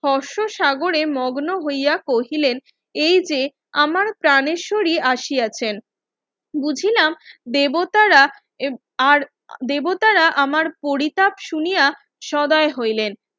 force সাগরে মগ্ন হইয়া কহিলেন এইযে আমার প্রানেরসরি আসিয়াছেন বুঝিলাম দেবতারা আর দেবতারা আমার পরিত্যাব শুনিয়া সময় হইলেন